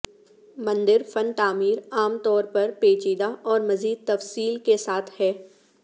مندر فن تعمیر عام طور پر پیچیدہ اور مزید تفصیل کے ساتھ ہے